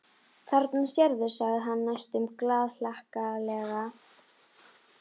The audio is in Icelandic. Þarna sérðu, sagði hann næstum glaðhlakkalega.